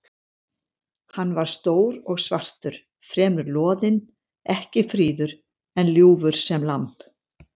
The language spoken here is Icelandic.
Hann var stór og svartur, fremur loðinn, ekki fríður, en ljúfur sem lamb.